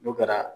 N'o kɛra